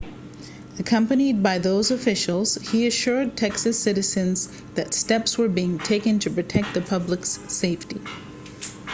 accompanied by those officials he assured texas citizens that steps were being taken to protect the public's safety